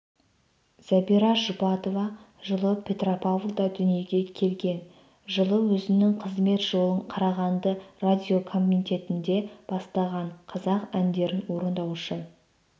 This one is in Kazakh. зәбира жұбатова жылы петропавлда дүниеге келген жылы өзінің қызмет жолын қарағанды радиокомитетінде бастаған қазақ әндерін орындаушы